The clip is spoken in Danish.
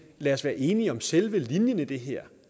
lad os være enige om selve linjen i det her